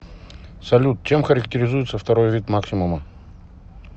салют чем характерезуется второй вид максимума